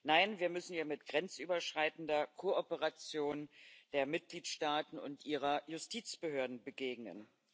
Nein, wir müssen ihr mit grenzüberschreitender Kooperation der Mitgliedstaaten und ihrer Justizbehörden begegnen.